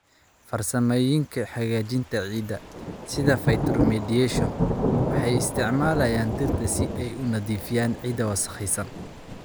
Farsamooyinka hagaajinta ciidda, sida phytoremediation, waxay isticmaalaan dhirta si ay u nadiifiyaan ciidda wasakhaysan.